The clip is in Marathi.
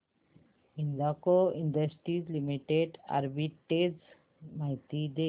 हिंदाल्को इंडस्ट्रीज लिमिटेड आर्बिट्रेज माहिती दे